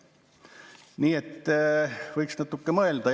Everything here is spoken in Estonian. Nii et võiks natuke mõelda.